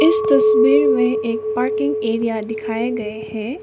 इस तस्वीर में एक पार्किंग एरिया दिखाए गए है।